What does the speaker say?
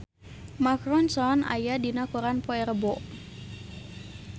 Mark Ronson aya dina koran poe Rebo